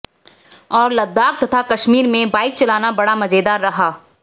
और लद्दाख तथा कश्मीर में बाईक चलाना बड़ा मजेदार रहा